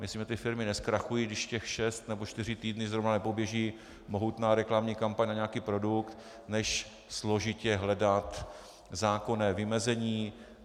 Myslím, že ty firmy nezkrachují, když těch šest nebo čtyři týdny zrovna nepoběží mohutná reklamní kampaň na nějaký produkt, než složitě hledat zákonné vymezení.